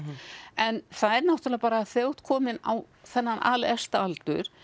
en það er náttúrulega bara að þegar þú ert kominn á þennan alefsta aldur